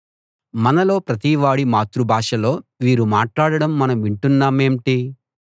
మనలో ప్రతివాడి మాతృభాషలో వీరు మాట్లాడడం మనం వింటున్నామేంటి